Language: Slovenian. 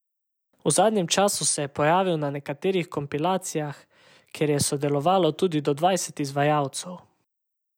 V zadnjem času se je pojavil na nekaterih kompilacijah, ker je sodelovalo tudi do dvajset izvajalcev.